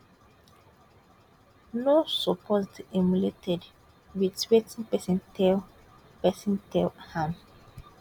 no suppose dey humiliated wit wetin pesin tell pesin tell um am